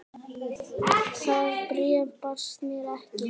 Það bréf barst mér ekki!